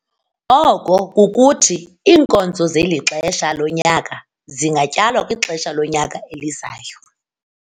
Oko kukuthi, iinkonzo zeli xesha lonyaka zingatyalwa kwixesha lonyaka elizayo.